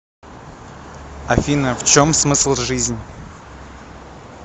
афина в чем смысл жизнь